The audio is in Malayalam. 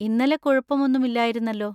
ഇന്നലെ കുഴപ്പം ഒന്നും ഇല്ലായിരുന്നല്ലോ.